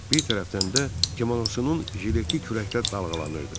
Bir tərəfdən də kimonosunun jileti kürəkdə dalğalanırdı.